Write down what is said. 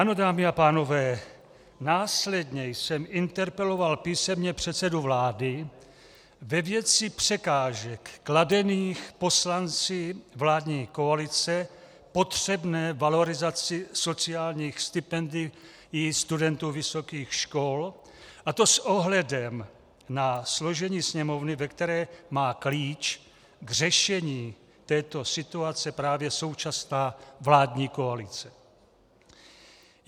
Ano, dámy a pánové, následně jsem interpeloval písemně předsedu vlády ve věci překážek kladených poslanci vládní koalice potřebné valorizaci sociálních stipendií studentů vysokých škol, a to s ohledem na složení Sněmovny, ve které má klíč k řešení této situace právě současná vládní koalice.